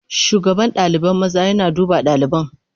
Shugaban ɗalibai maza yana duba ɗaliban.